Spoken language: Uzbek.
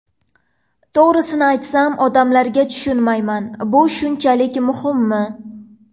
To‘g‘risini aytsam, odamlarga tushunmayman, bu shunchalik muhimmi?